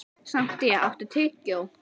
Santía, áttu tyggjó?